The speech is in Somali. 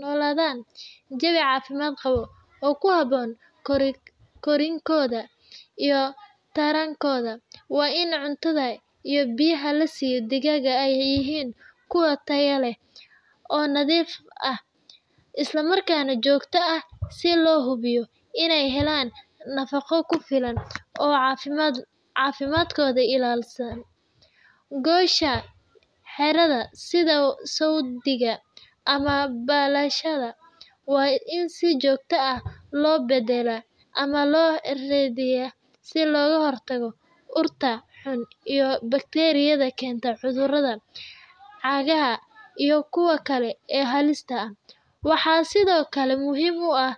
nooladan jawi cafimaad qabo oo ku haboon korinkooda iyo tarankooda waa in cuntada iyo biyaha lasiiyo digaaga aay yihiin kuwo tayo leh oo nadiif ah isla markaana joogta ah si loo hubiyo inaay helaan nafaqo kufilan oo cafimaadkooda ilaalisa, goosha xeerada ama balashada waa in si joogta ah loo badalaa ama si looga hor tago cudurada xun iyo bakteriyada keenta cunta cagaha iyo kuwo kale ee halista ah waxaa sido kale muhiim u ah.